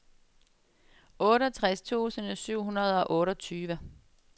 otteogtres tusind syv hundrede og otteogtyve